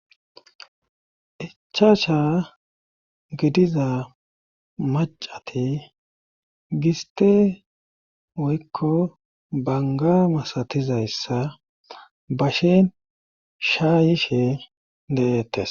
Icha sha gidiza macati giste woykko banga masatizayssa bashen shaayishe de'ettes